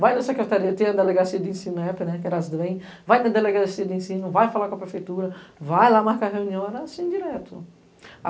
Vai na Secretaria, tem a Delegacia de Ensino, vai na Delegacia de Ensino, vai falar com a Prefeitura, vai lá marcar reunião, era assim direto.